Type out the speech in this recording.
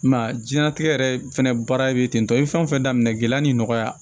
I m'a ye diɲɛlatigɛ yɛrɛ fɛnɛ baara bɛ ten tɔ i bɛ fɛn o fɛn daminɛ gɛlɛya ni nɔgɔya